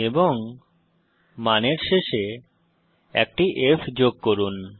এবং মানের শেষে একটি f যোগ করুন